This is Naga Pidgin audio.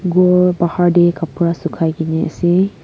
edu bahar deh kapra sukhai gine asey.